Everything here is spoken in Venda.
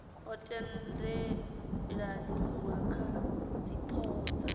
ho tendelaniwa kha dzithoho dza